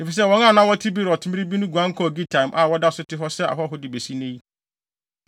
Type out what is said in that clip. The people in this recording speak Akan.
efisɛ wɔn a na wɔte Beerot mmere bi no guan kɔɔ Gitaim a wɔda so te hɔ sɛ ahɔho de besi nnɛ yi.